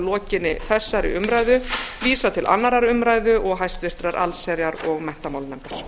lokinni þessari umræðu vísað til annarrar umræðu og háttvirtrar allsherjar og menntamálanefndar